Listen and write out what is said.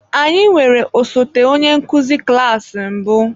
Anyị nwere osote onye nkuzi klas mbụ.